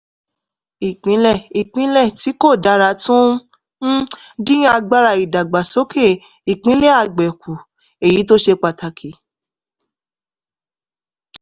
ìpínlẹ̀-ìpínlẹ̀ tí kò dára tún ń um dín agbára ìdàgbàsókè ìpínlẹ̀ àgbẹ̀ kù èyí tó ṣe pàtàkì